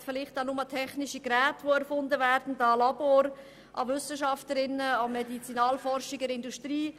Man denkt vielleicht an neu erfundene technische Geräte und an Laboratorien, an Wissenschafterinnen und Medizinalforscher in der Industrie.